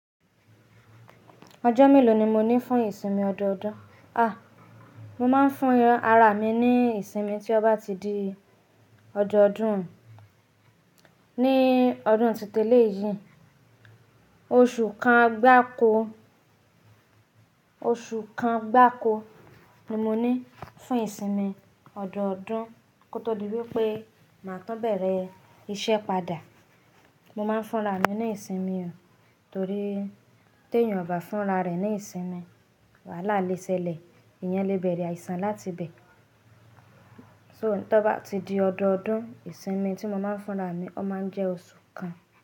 Ọjọ́ mélòó ni mo ní fún ìsinmi ọdọọdún? À, mo máa ń fún ara mi ní ìsinmi tí ó bá ti di ọdọọdún. Ní ọdún tí ó ti lé yìí, oṣù kan gbá ko, oṣù kan gbá ko ni mo ní fún ìsinmi ọdọọdún kó tó di wípé mà á tán bẹ̀rẹ̀ iṣẹ́ padà. Mo máa ń fúnra mi ní ìsinmi, torí tí èèyàn ò bá fúnra rẹ̀ ní ìsinmi, wàhálà le ṣẹlẹ̀, ìyàn lè bẹ̀rẹ̀ àìsàn láti bẹ̀. So tí ó bá ti di ọdọọdún, ìsinmi tí mo máa ń fúnra mi, ó máa ń jẹ́ oṣù kan.